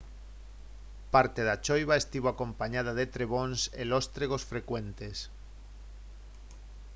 parte da choiva estivo acompañada de trebóns e lóstregos frecuentes